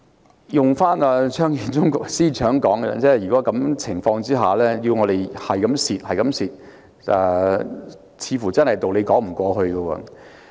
套用張建宗司長的說法，如果在這樣的情況下要市民繼續虧蝕，似乎真的說不過去。